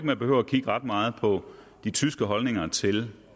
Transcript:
man behøver at kigge ret meget på de tyske holdninger til